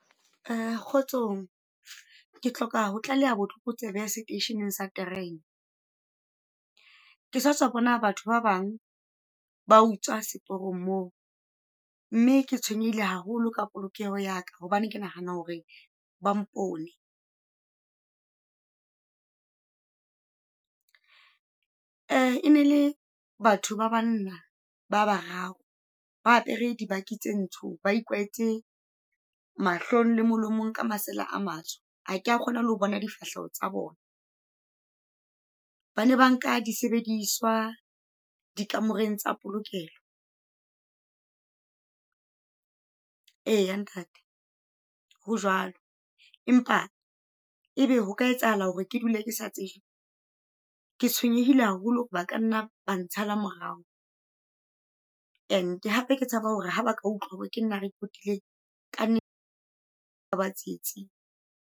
Kgotsong. Ke hloka ho tlaleha botlokotsebe seteisheneng sa terene. Ke satswa bona batho ba bang ba utswa seporong moo, mme ke tshwenyehile haholo ka polokeho ya ka, hobane ke nahana hore ba mpone. E ne e le batho ba banna ba bararo, ba apere dibaki tse ntsho ba ikwetse mahlong le molomong ka masela a matsho, ha kea kgona lo bona difahleho tsa bona. Bane ba nka disebediswa dikamoreng tsa polokelo. Eya ntate ho jwalo. Empa e be hoka etsahala hore ke dule ke sa tsejwe? Ke tshwenyehile haholo, ba ka nna ba ntshala morao, and hape ke tshaba hore ha ba ka utlwa hore ke nna a repotileng ka ba tsietsing.